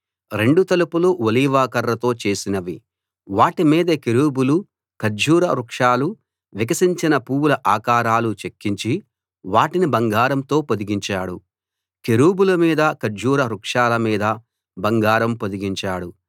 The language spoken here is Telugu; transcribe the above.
రెండు తలుపులూ ఒలీవ కర్రతో చేసినవి వాటి మీద కెరూబులు ఖర్జూర వృక్షాలు వికసించిన పూవుల ఆకారాలు చెక్కించి వాటిని బంగారంతో పొదిగించాడు కెరూబుల మీదా ఖర్జూర వృక్షాల మీదా బంగారం పొదిగించాడు